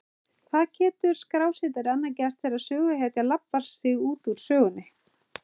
Hvað getur skrásetjari annað gert þegar söguhetjan labbar sig út úr sögunni?